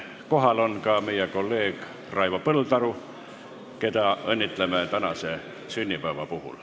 Kohal on ka meie kolleeg Raivo Põldaru, keda õnnitleme tänase sünnipäeva puhul.